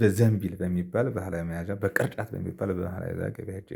በዘንቢል በሚባል ባህላዊ መያዣ፣ በቅርጫት በሚባል ባህላዊ ገበያ ሄጄ